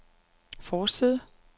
forside